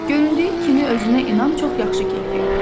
Göründüyü kimi özünə inam çox yaxşı keyfiyyətdir.